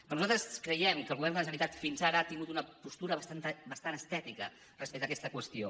però nosaltres creiem que el govern de la generalitat fins ara ha tingut una postura bastant estètica respecte a aquesta qüestió